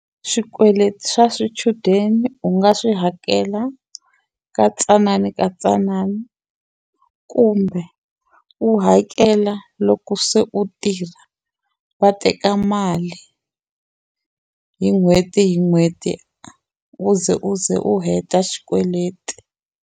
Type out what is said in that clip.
Swikweleti swa swichudeni u nga swi hakela ka tsanana ka tsanana kumbe u hakela loko ku se u tirha va teka mali hi n'hweti hi n'hweti u ze u ze u heta xikweleti.